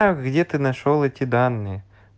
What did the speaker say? а где ты нашёл эти данные